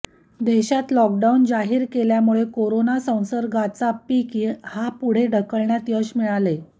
देशात लॉकडाऊन जाहीर केल्यामुळे कोरोना संसर्गाचा पिक हा पुढे ढकलण्यात यश मिळाले